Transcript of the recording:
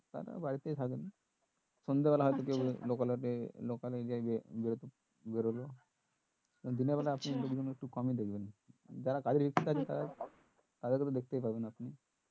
তারা বাড়িতেই থাকেন সন্ধে বেলায় হয়তো local area এ বেরোতে বেরোলো দিনের বেলায় কমই দেখবেন যারা কাজের ভিত্তি তাদের তো তাদের ক তো দেখতেই পাবেন আপনি